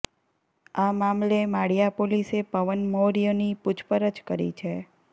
આ મામલે માળિયા પોલીસે પવન મૌર્યની પૂછપરછ કરી છે